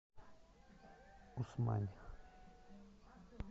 усмань